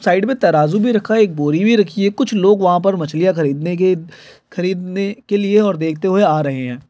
Side में तराजू भी रखा हैं एक बोरी भी रखी हैं कुछ लोग वहाँ पर मछलियाँ खरीदने के खरीदने के लिए और देखते हुए आ रहे हैं।